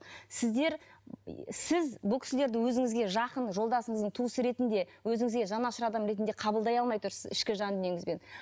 сіздер сіз бұл кісілерді өзіңізге жақын жолдасыңыздың туысы ретінде өзіңізге жанашыр адам ретінде қабылдай алмай тұрсыз ішкі жан дүниеңізбен